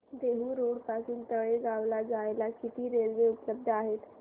Dehu road पासून तळेगाव ला जायला किती रेल्वे उपलब्ध आहेत